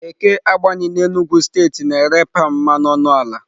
Eke Agbani n'Enugwu steeti na-ere palm mmanụ ọnụ ala.